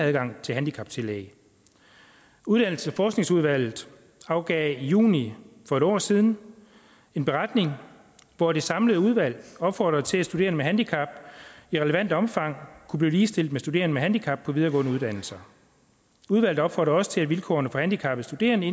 adgang til handicaptillæg uddannelses og forskningsudvalget afgav i juni for et år siden en beretning hvor det samlede udvalg opfordrede til at studerende med handicap i relevant omfang kunne blive ligestillet med studerende med handicap på videregående uddannelser udvalget opfordrede også til at vilkårene for handicappede studerende